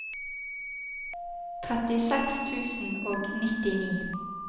trettiseks tusen og nittini